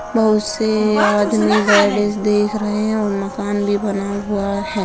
बहुत से आदमी देख रहे हैं और मकान भी बना हुआ है।